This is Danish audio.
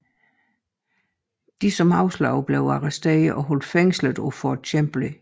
De som afslog blev arresteret og holdt fængslet på Fort Chambly